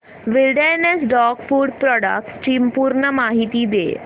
wilderness dog food products ची पूर्ण माहिती दे